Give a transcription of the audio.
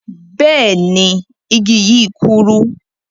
Bẹẹni, igi yi kúrú.